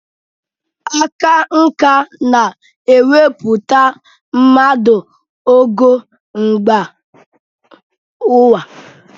Aka nkà na-ewepụta mmadụ n'ogo mba ụwa.